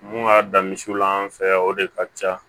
Mun ka dan misiw la an fɛ yan o de ka ca